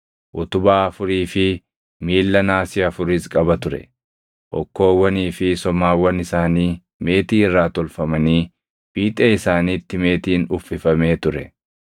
utubaa afurii fi miilla naasii afuris qaba ture. Hokkoowwanii fi somaawwan isaanii meetii irraa tolfamanii fiixee isaaniitti meetiin uffifamee ture.